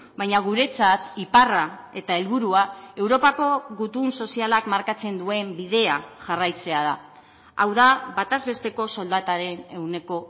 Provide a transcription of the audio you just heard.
baina guretzat iparra eta helburua europako gutun sozialak markatzen duen bidea jarraitzea da hau da bataz besteko soldataren ehuneko